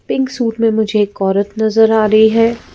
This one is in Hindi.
पिंक सूट में मुझे एक औरत नजर आ रही है।